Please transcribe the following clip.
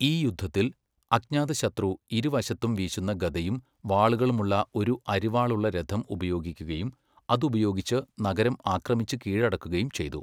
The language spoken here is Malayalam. ഈ യുദ്ധത്തിൽ, അജ്ഞാതശത്രു ഇരുവശത്തും വീശുന്ന ഗദയും വാളുകളുമുള്ള ഒരു അരിവാളുള്ള രഥം ഉപയോഗിക്കുകയും, അതുപയോഗിച്ച് നഗരം ആക്രമിച്ച് കീഴടക്കുകയും ചെയ്തു.